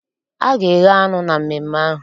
A ga-eghe anụ na mmemme ahụ.